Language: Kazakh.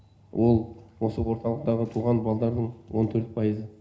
ол осы орталықта туған балалардың он төрт пайызы